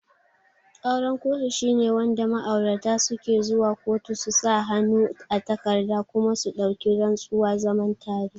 Auren kotu shine wanda ma'aurata suke zuwa kotu su sa hannu a takarda kuma su dauki rantsuwa zaman tare